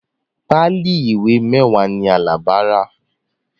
Páálí ìwé mẹ́wàá ni Alabi rà